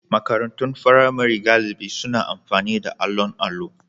Makarantun firamare galibi suna amfani da allon allo.